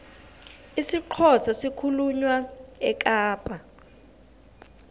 isixhosa sikhulunywa ekapa